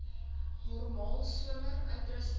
normaal somer uitrusting